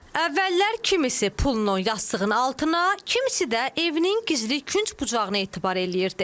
Əvvəllər kimisi pulunu yastığının altına, kimisi də evinin gizli künc-bucağına etibar eləyirdi.